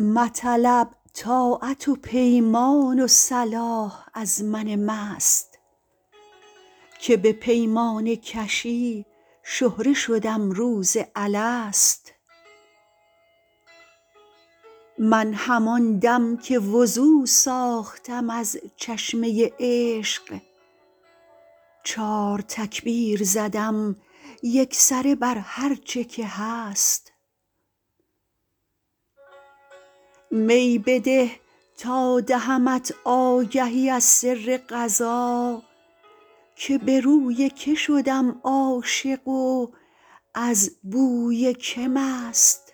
مطلب طاعت و پیمان و صلاح از من مست که به پیمانه کشی شهره شدم روز الست من همان دم که وضو ساختم از چشمه عشق چار تکبیر زدم یکسره بر هرچه که هست می بده تا دهمت آگهی از سر قضا که به روی که شدم عاشق و از بوی که مست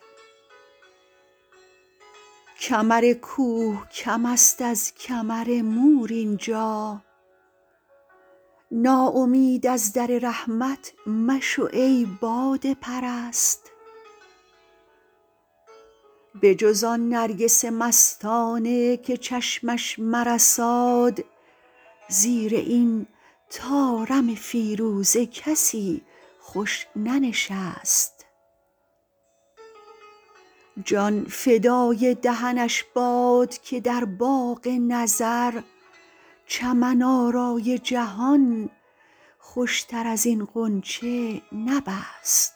کمر کوه کم است از کمر مور اینجا ناامید از در رحمت مشو ای باده پرست بجز آن نرگس مستانه که چشمش مرساد زیر این طارم فیروزه کسی خوش ننشست جان فدای دهنش باد که در باغ نظر چمن آرای جهان خوشتر از این غنچه نبست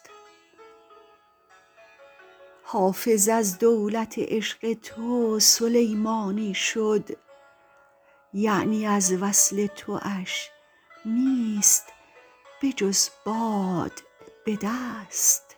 حافظ از دولت عشق تو سلیمانی شد یعنی از وصل تواش نیست بجز باد به دست